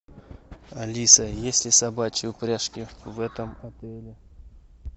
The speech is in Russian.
алиса есть ли собачьи упряжки в этом отеле